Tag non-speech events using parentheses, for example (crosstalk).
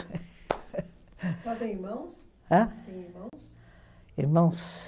(laughs) A senhora tem irmãos? Hã? Tem irmãos? Irmãos